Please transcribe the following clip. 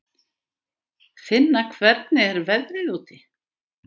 Finna, hvernig er veðrið úti?